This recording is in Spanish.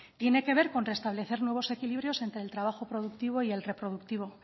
tiene que ver con restablecer nuevos equilibrios entre el trabajo productivo y el reproductivo